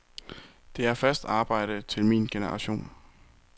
Der er fast arbejde til min generation.